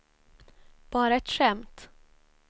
bara ett skämt